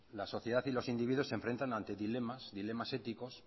la sociedad y los individuos se enfrentan ante dilemas dilemas éticos